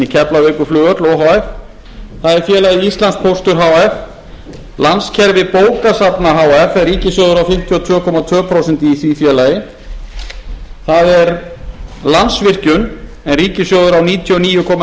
f það er félagið íslandspóstur h f landskerfi bókasafna h f en ríkissjóður á fimmtíu og tvö komma tvö prósent í því félagi það er landsvirkjun en ríkissjóður á níutíu og níu komma